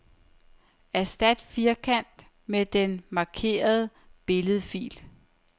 Erstat firkant med den markerede billedfil.